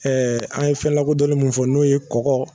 Ɛɛ an ye fɛn lakodɔnlen min fɔ n'o ye kɔgɔ